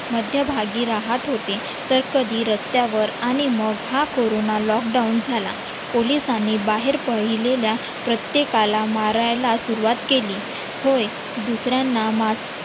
मध्यभागी राहत होते. तर कधी रस्त्यावर आणि मग हा कोरोना lockdown झाला पोलीस आणि बाहेर पाहिलेल्या प्रत्येकाला मारायला सुरुवात केली होय दुसऱ्यांना